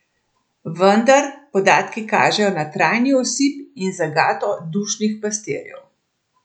Vendar podatki kažejo na trajni osip in zagato dušnih pastirjev.